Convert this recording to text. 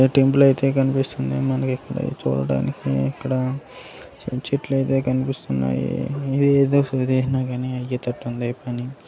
ఒక టెంపుల్ అయితే కనిపిస్తుంది మనకి ఇక్కడ చూడడానికి ఇక్కడ సమ్ చెట్లు అయితే కనిపిస్తున్నాయి ఇదేదో సులువుగానే అయ్యేటట్టు ఉంది పని.